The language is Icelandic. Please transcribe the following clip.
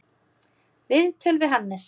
Viðtöl við Hannes